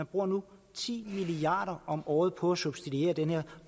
bruger nu ti milliard om året på at subsidiere den her